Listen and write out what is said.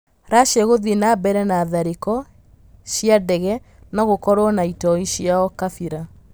Racia guthiĩ na mbere na tharĩ kĩ ro cĩ a dege nogũkorwo na itoi ciao Kabira